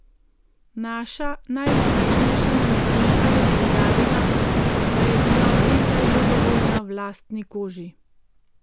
Naša najuspešnejša manekenka je poudarila, da je bila od nekdaj zadovoljna v lastni koži.